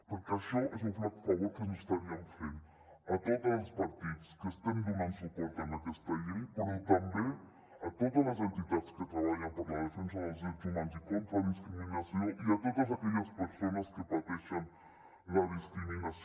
perquè això és un flac favor que ens estaríem fent a tots els partits que estem donant suport a aquesta llei però també a totes les entitats que treballen per la defensa dels drets humans i contra la discriminació i a totes aquelles persones que pateixen la discriminació